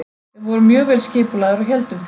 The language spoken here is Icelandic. Við vorum mjög vel skipulagðir og héldum því.